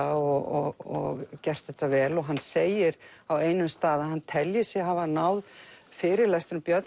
og gert þetta vel og hann segir á einum stað að hann telji sig hafa náð fyrirlestrum Björns